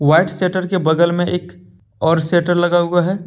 White shutter के बगल में एक और शटर लगा हुआ है।